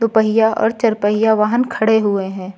पहिया और चारपहिया वाहन खड़े हुए हैं।